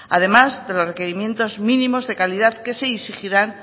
además de los requerimientos mínimos de calidad que se exigirán